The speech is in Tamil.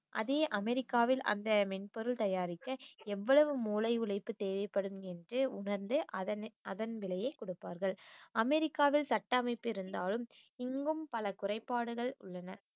அதே அமெரிக்காவில் அந்த மென்பொருள் தயாரிக்க எவ்வளவு மூளை உழைப்பு தேவைப்படும் என்று உணர்ந்து அதன் அதன் விலையை கொடுப்பார்கள் அமெரிக்காவில் சட்ட அமைப்பு இருந்தாலும் இங்கும் பல குறைபாடுகள் உள்ளன